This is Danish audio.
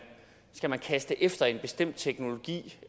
skal kaste efter en bestemt teknologi